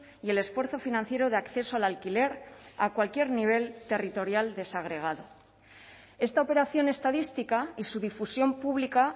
y el esfuerzo financiero de acceso al alquiler a cualquier nivel territorial desagregado esta operación estadística y su difusión pública